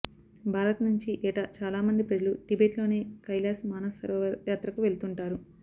భారత్ నుంచి ఏటా చాలామంది ప్రజలు టిబెట్లోని కైలాశ్ మానసరోవర్ యాత్రకు వెళ్తుంటారు